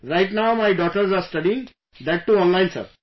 Right now, my daughters are studying, that too online Sir